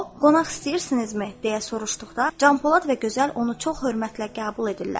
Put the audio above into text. O, "Qonaq istəyirsinizmi?" deyə soruşduqda, Canpolad və Gözəl onu çox hörmətlə qəbul edirlər.